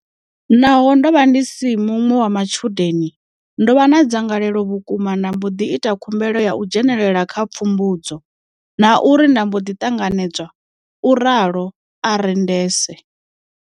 Naho ndo vha ndi si muṅwe wa matshudeni, ndo vha na dzangalelo vhukuma nda mbo ḓi ita khumbelo ya u dzhenela kha pfumbudzo, na uri nda mbo ḓi ṱanganedzwa, u ralo Arendse.